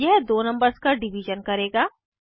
यह दो नंबर्स का डिवीज़न करेगा